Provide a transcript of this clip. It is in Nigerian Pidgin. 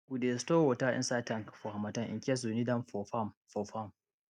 we dey store water inside tank for harmattan in case we need am for farm for farm